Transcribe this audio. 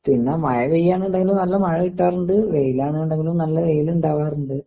പിന്നെ മയ പെയ്യാന്നുണ്ടെങ്കില് നല്ല മഴ കിട്ടാറിണ്ട് വെയിലാണ് ഇണ്ടെങ്കിലും നല്ല വെയിലിണ്ടാകാറുണ്ട്.